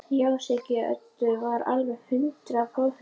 Já, Siggi Öddu var alveg hundrað prósent viss.